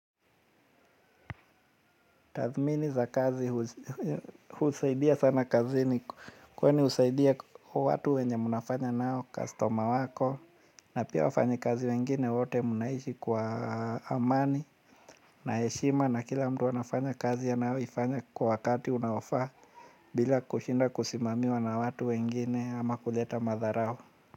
Tathmini za kazi husaidia sana kazini, kwani husaidia kwa watu wenye mnafanya nao, kastoma wako, na pia wafanyi kazi wengine wote mnaishi kwa amani. Na heshima na kila mtu anafanya kazi anayo ifanya kwa wakati unaofaa. Bila kushinda kusimamiwa na watu wengine ama kuleta madharau.